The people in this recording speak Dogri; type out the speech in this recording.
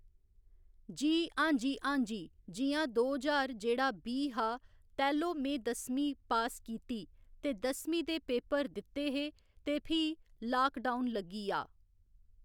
जी हांजी हांजी जि'यां दो ज्हार जेह्ड़ा बीह् हा तैह्‌लो में दसमीं पास कीती ते दसमीं दे पेपर दित्ते हे ते फ्ही लोकडाउन लग्गी आ